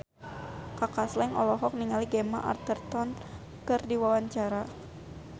Kaka Slank olohok ningali Gemma Arterton keur diwawancara